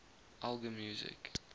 elgar music